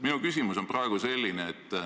Minu küsimus on selline.